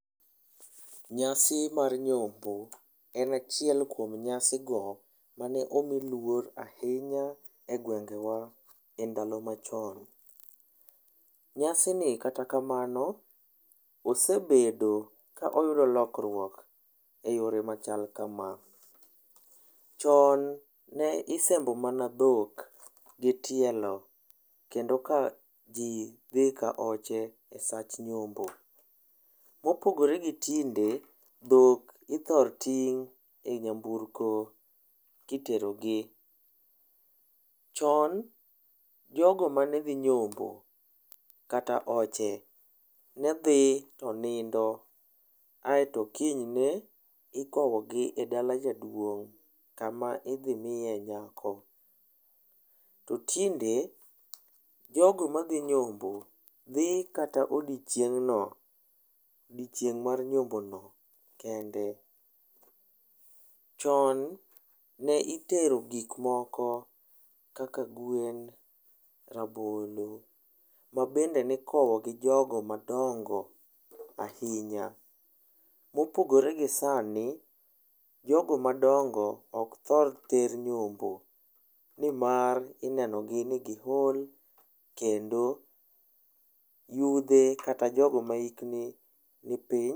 Nyasi mar nyombo en achiel kuom nyasigo mane omi luor ahinya egwengewa e ndalo machon. Nyasini kata kamano, osebet ka oyudo lokruok e yore machal kama: Chon ne isembo mana dhok gi tielo kendo ka ji dhi ka oche sach nyombo. Mopogore gi tinde, dhok ithor ting' e nyambueko kitero gi. Chon jogo mane dhi nyombo kata oche, ne dhi to nindo aeto kiny ne ikowogi e dala jaduong' kama idhi miyee nyako. To tinde jogo madhi nyombo dhi kata odiechieng' no, odiechieng' mar nyombo no kende. Chon ne itero gik moko kaka gwen, rabolo mabende ne ikowo gi jogo madongo ahinya. Mopogore gi sani, jogo madongo ok thor ter nyombo nimar ineno gi ni giol kendo yudhe kata jogo ma hikgi nipiny..